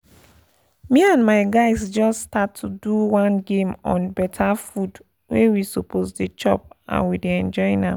me and my guys just start to do one game on better food wey we suppose dey chop and we dey enjoy am